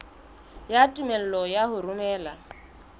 ya tumello ya ho romela